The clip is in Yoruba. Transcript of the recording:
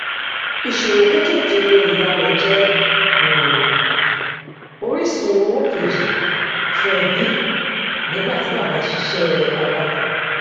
ìṣòwò kékèké ìyá rẹ jẹ um orísun owó kejì fún ẹbí nígbà tí bàbá ń ṣiṣẹ awakọ